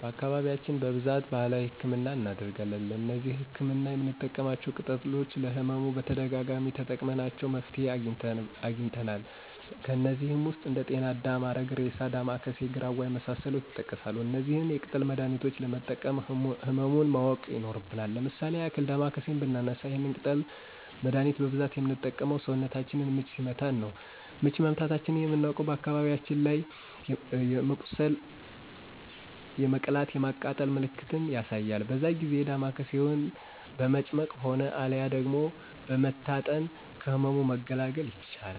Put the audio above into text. በአካባቢያችን በብዛት በባህላዊ ህክምናን እናደርጋለን። እነዚህ ለህክምና የምንጠቀማቸው ቅጠሎች ለህመሙ በተደጋጋሚ ተጠቅመናቸው መፍትሄ አግኝተናል። ከነዚህም ውስጥ እንደ ጤና አዳም፣ አረግሬሳ፣ ዳማከሴ፣ ግራዋ የመሳሰሉት ይጠቀሳሉ። እነዚህን የቅጠል መድሀኒቾች ለመጠቀም ህመሙን ማወቅ ይኖርብናል። ለምሳሌ ያክል ዳማከሴን ብናነሳ ይህን የቅጠል መደሀኒት በብዛት ምንጠቀመው ሰውነታችንን ምች ሲመታን ነው። ምች መመታታችንን ምናቅበት አካባቢው ላይ የመቁሰል የመቅላት የማቃጠል ምልክትን ያሳያል በዛ ጊዜ ዳማከሴውን በመጭመቅ ሆነ አልያ ደግሞ በመታጠን ከህመሙ መገላገል ይቻላል።